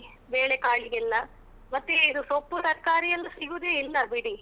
ಅಕ್ಕಿಗೆ ಬೇಳೆಕಾಳಿಗೆಲ್ಲ ಮತ್ತೆ ಇದು ಸೊಪ್ಪು ತರ್ಕಾರಿ ಎಲ್ಲ ಸಿಗುದೇ ಇಲ್ಲ ಬಿಡಿ.